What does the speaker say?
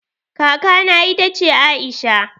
Kaka na ita ce Aisha